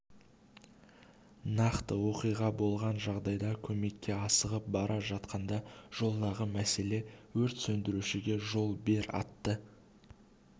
нақты оқиға болған жағдайда көмекке асығып бара жатқанда жолдағы мәселе өрт сөндірушіге жол бер атты